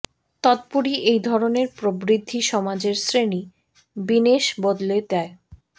তদুপরি এই ধরণের প্রবৃদ্ধি সমাজের শ্রেণী বিন্যাস বদলে দেয়